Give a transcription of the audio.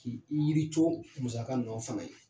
K'i yiri co musaka ninnu fana ye.